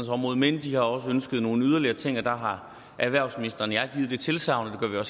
område men de har også ønsket nogle yderligere ting og der har erhvervsministeren og jeg givet det tilsagn og